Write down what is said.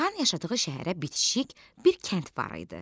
Xan yaşadığı şəhərə bitişik bir kənd var idi.